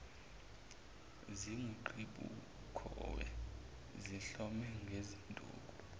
zinguqhibukhowe zihlome ngezinduku